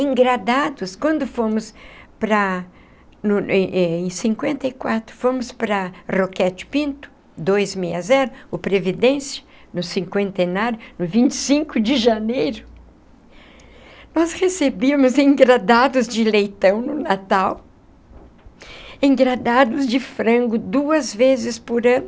Engradados, quando fomos para no... em cinquenta e quatro, fomos para Roquete Pinto, dois meia zero, o Previdência, no cinquentenário, no vinte e cinco de janeiro, nós recebíamos engradados de leitão no Natal, engradados de frango duas vezes por ano,